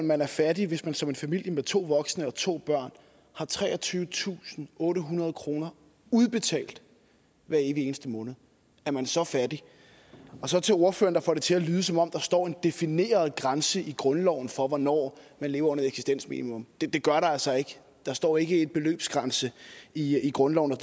man er fattig hvis man som en familie med to voksne og to børn har treogtyvetusinde og ottehundrede kroner udbetalt hver evig eneste måned er man så fattig så til ordføreren der får det til at lyde som om der står en defineret grænse i grundloven for hvornår man lever under et eksistensminimum det gør der altså ikke der står ikke en beløbsgrænse i grundloven